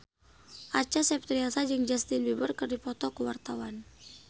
Acha Septriasa jeung Justin Beiber keur dipoto ku wartawan